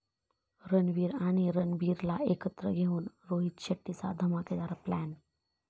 रणवीर आणि रणबीरला एकत्र घेऊन रोहित शेट्टीचा धमाकेदार प्लॅन